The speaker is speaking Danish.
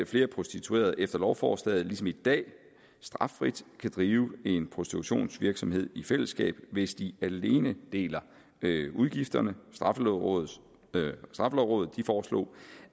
flere prostituerede efter lovforslaget ligesom i dag straffrit kan drive en prostitutionsvirksomhed i fællesskab hvis de alene deler udgifterne straffelovrådet foreslog